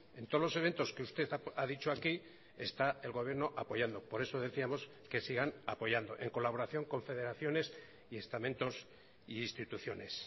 en todos los eventos que usted ha dicho aquí está el gobierno apoyando por eso decíamos que sigan apoyando en colaboración con federaciones y estamentos e instituciones